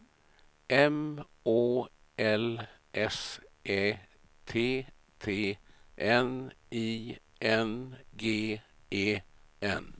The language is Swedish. M Å L S Ä T T N I N G E N